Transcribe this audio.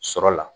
Sɔrɔ la